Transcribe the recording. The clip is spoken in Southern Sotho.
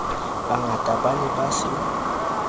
bangata ba ne ba se